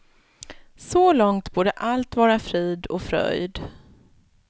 Så långt borde allt vara frid och fröjd.